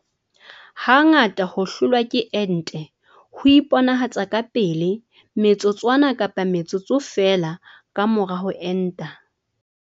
Ha ngata ho hlolwa ke ente ho iponahatsa ka pele metsotswana kapa metsotso feela ka mora ho enta.